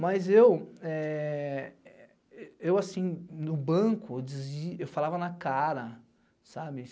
Mas eu, assim, no banco, eu falava na cara, sabe?